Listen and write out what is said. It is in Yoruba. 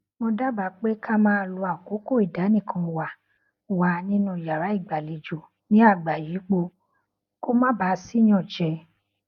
mo dábàá pé ká máa lo àkókò ìdánìkanwà wa nínú yàrá ìgbàlejò ní àgbàyípo kó má baà sí ìyànjẹ